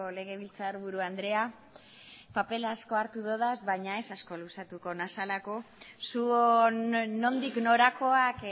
legebiltzar buru andrea paper asko hartu ditut baina ez asko luzatuko naizelako zuon nondik norakoak